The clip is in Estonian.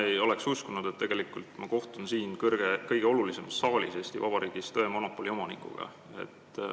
Ma ei oleks uskunud, et ma kohtun siin, Eesti Vabariigi kõige olulisemas saalis, tõemonopoli omanikuga.